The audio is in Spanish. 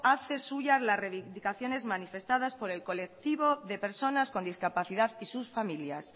hace suyas las reivindicaciones manifestadas por el colectivo de personas con discapacidad y sus familias